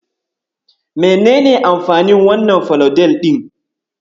Menene amfanin wannan falodel ɗin?